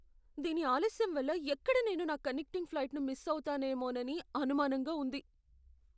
దీని ఆలస్యం వల్ల ఎక్కడ నేను నా కనెక్టింగ్ ఫ్లైట్ను మిస్ అవుతానేమోనని అనుమానంగా ఉంది.